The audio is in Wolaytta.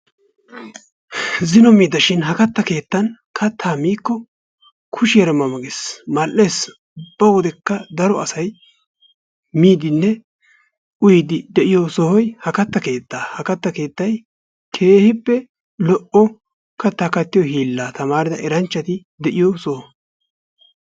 Zino miida shin ha katta keettan kattaa miikko kushshiyaara ma ma gees. Mal"ees ubba wodekka daro asay miidinne uyiidi de'iyoo sohoy ha katta kettaa. Ha katta keettay keehippe lo"o kattaa kattiyoo hiillaa tamarida eranchchati de'iyoo soho.